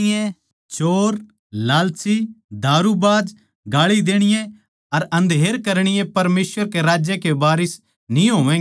चोर लालची दारूबाज गाळी देणीये अर अन्धेर करणीये परमेसवर कै राज्य के वारिस न्ही होवैगें